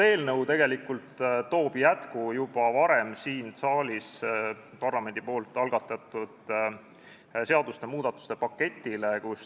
Eelnõu toob jätku parlamendi juba varem siin saalis algatatud seadusmuudatuste paketile.